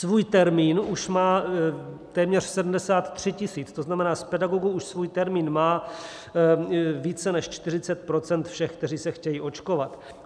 Svůj termín už má téměř 73 000, to znamená z pedagogů už svůj termín má více než 40 % všech, kteří se chtějí očkovat.